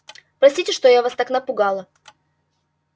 простите что я вас так напугала